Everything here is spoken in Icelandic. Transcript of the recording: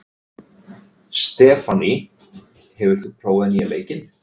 Stefánný, hefur þú prófað nýja leikinn?